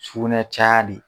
Sugunɛ caya de